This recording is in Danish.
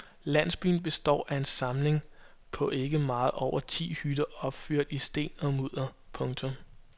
Landsbyen består af en samling på ikke meget over ti hytter opført i sten og mudder. punktum